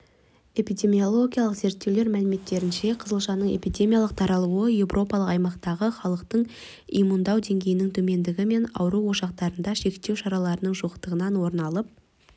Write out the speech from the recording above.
эпидемиологиялық зерттеулер мәліметтерінше қызылшаның эпидемиялық таралуы еуропалық аймақтағы халықты иммундау деңгейінің төмендігі мен ауру ошақтарында шектеу шараларының жоқтығынан орын алып